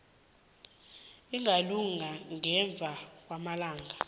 ingalunga ngemva kwamalanga